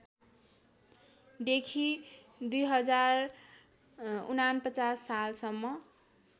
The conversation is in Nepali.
देखि २०४९ सालसम्म